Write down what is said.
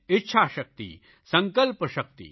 ઇચ્છાશકિત સંકલ્પશકિત